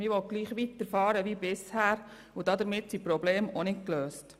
Man will gleich weiterfahren wie bisher, und damit sind die Probleme auch nicht gelöst.